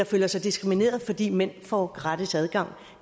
føler sig diskrimineret fordi mænd får gratis adgang